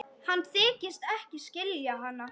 Hann þykist ekki skilja hana.